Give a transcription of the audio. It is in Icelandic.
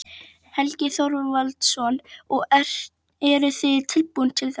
Helgi Þorvaldsson: Og eruð þið tilbúin til þess?